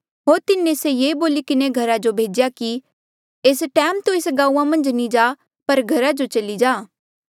होर तिन्हें से ये बोली किन्हें घरा जो भेज्या कि एस टैम तू एस गांऊँआं मन्झ नी जा पर घरा जो चली जा